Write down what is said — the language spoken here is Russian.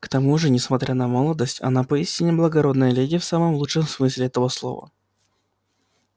к тому же несмотря на молодость она поистине благородная леди в самом лучшем смысле этого слова